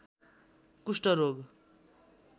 कुष्ठ रोग